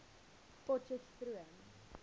potcheftsroom